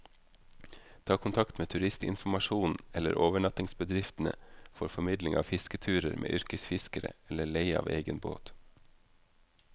Ta kontakt med turistinformasjonen eller overnattingsbedriftene for formidling av fisketurer med yrkesfiskere, eller leie av egen båt.